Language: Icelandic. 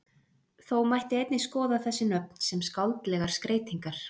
þó mætti einnig skoða þessi nöfn sem skáldlegar skreytingar